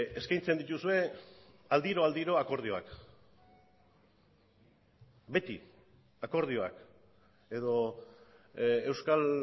eskaintzen dituzue aldiro aldiro akordioak beti akordioak edo euskal